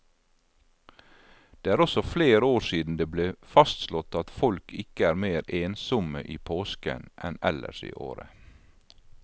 Det er også flere år siden det ble fastslått at folk ikke er mer ensomme i påsken enn ellers i året.